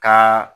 Ka